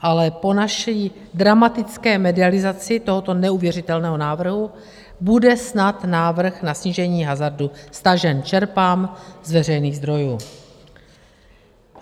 Ale po naší dramatické medializaci tohoto neuvěřitelného návrhu bude snad návrh na snížení hazardu stažen - čerpám z veřejných zdrojů.